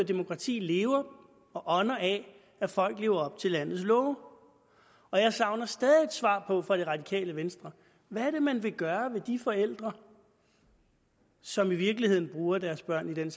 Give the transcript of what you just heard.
demokratiet lever og ånder af at folk lever op til landets love og jeg savner stadig et svar på fra det radikale venstre hvad er det man vil gøre med de forældre som i virkeligheden bruger deres børn i den